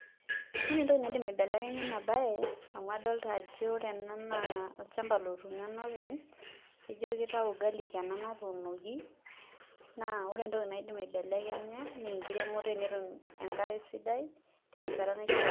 Ore entoki niadim aibelekenya ena baye amu adaolta ajo ore ena naa olchamba otuuno enopeny naaa ijio kitayu garlic ena natuunoki naa ore entoki naidim aibelekenya naa enkiremoto enetum enkare sidai terishata naishiaa.